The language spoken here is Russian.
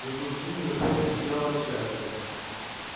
зато джинни напротив сияла от счастья